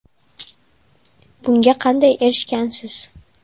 Bunga qanday erishgansiz?